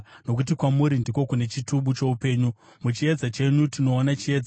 Nokuti kwamuri ndiko kune chitubu choupenyu; muchiedza chenyu tinoona chiedza.